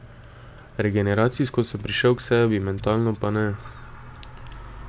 Regeneracijsko sem prišel k sebi, mentalno pa ne.